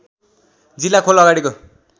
जिल्ला खोल अगाडिको